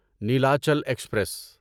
Nilachal express